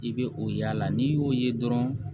I bɛ o y'a la n'i y'o ye dɔrɔn